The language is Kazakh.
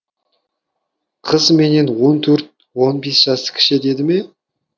қыз менен он төрт он бес жас кіші деді ме